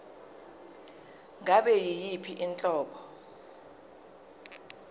ngabe yiyiphi inhlobo